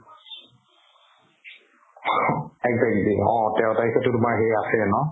exactly অ তেৰ তাৰিখেতো তোমাৰ সেই আছেয়ে ন